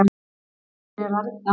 hvenær byrjar að rigna